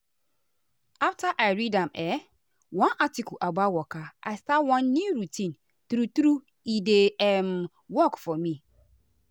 after i read am[um]one article about about waka i start one new routine true true e dey um work for me.